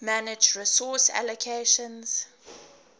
manage resource allocations